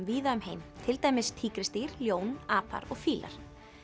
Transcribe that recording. víða um heim til dæmis tígrisdýr ljón apar og fílar